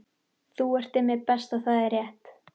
Þú ert Immi Best og það er rétt